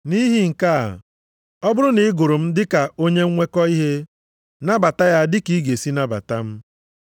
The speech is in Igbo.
Nʼihi nke a, ọ bụrụ na ị gụrụ m dị ka onye nnwekọ ihe, nabata ya dị ka ị ga-esi nabata m.